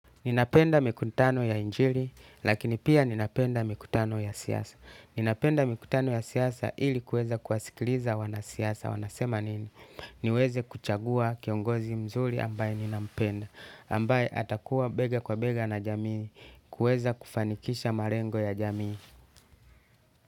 Ninapenda mikutano ya injili, lakini pia ninapenda mikutano ya siasa. Ninapenda mikutano ya siasa ili kuweza kuwasikiliza wanasiasa, wanasema nini? Niweze kuchagua kiongozi mzuri ambaye ninampenda, ambaye atakuwa bega kwa bega na jamii, kuweza kufanikisha malengo ya jamii.